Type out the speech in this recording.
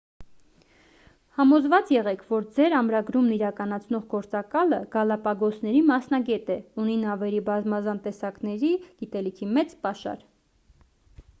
համոզված եղեք որ ձեր ամրագրումն իրականացնող գործակալը գալապագոսների մասնագետ է ունի նավերի բազմազան տեսակների գիտելիքի մեծ պաշար